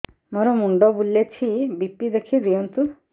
ମୋର ମୁଣ୍ଡ ବୁଲେଛି ବି.ପି ଦେଖି ଦିଅନ୍ତୁ